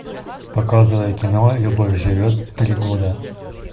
показывай кино любовь живет три года